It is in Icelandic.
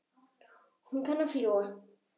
Ég kann að fljúga.